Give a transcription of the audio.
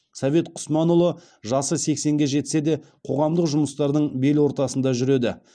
совет құсманұлы жасы сексенге жетсе де қоғамдық жұмыстардың бел ортасында жүреді